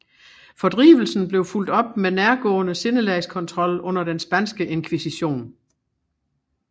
Fordrivelsen blev fulgt op med nærgående sindelagskontrol under den spanske inkvisition